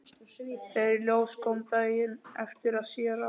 Þegar í ljós kom daginn eftir að séra